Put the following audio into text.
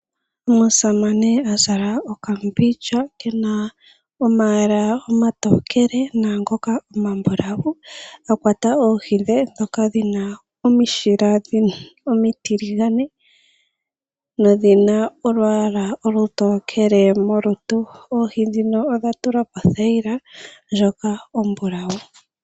Omusamane a zala okambindja kena omayala omatokele naangoka omambulawu akwata oohi dhe dhoka dhina omishila omitiligane nodhina olwaala olutokele molutu oohi dhino odha tulwa pothayila ndjoka ombulawu.